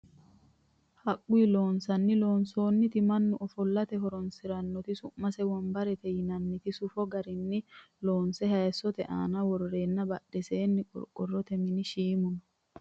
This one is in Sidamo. Haqqu loosinni loonsoonnita mannu ofollate horonsirannota su'mase wonbarete yinannita soofu garinni loonse hayiissote aana worreenna badheseenni qorqorrote mini shiimu no